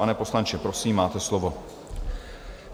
Pane poslanče, prosím, máte slovo.